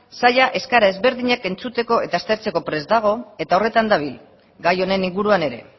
saila eskaera ezberdinak entzuteko eta aztertzeko prest dago eta horretan dabil gai honen inguruan ere